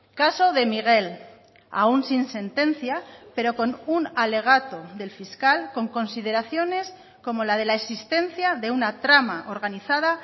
caso de miguel aun sin sentencia pero con un alegato del fiscal con consideraciones como la de la existencia de una trama organizada